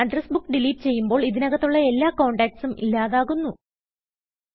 address book delete ചെയ്യുമ്പോൾ ഇതിനകത്തുള്ള എല്ലാ കോണ്ടാക്റ്റ്സും ഇല്ലാതാകുന്നു